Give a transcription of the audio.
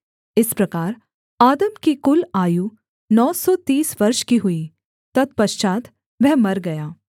इस प्रकार आदम की कुल आयु नौ सौ तीस वर्ष की हुई तत्पश्चात् वह मर गया